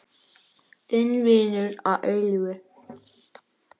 Þinn vinur að eilífu.